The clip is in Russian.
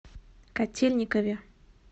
котельникове